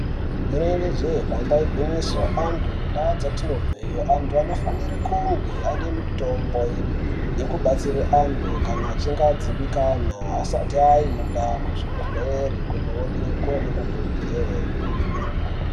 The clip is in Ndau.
Inenge jee damba igwinyiso, antu muntaa dzatinobveyo ,antu anofanire kunge ane mitombo yekubatsire antu kana achinge adzimbikana, asati aenda kuzvibhedhlere kundoonekwa nemadhokodheye.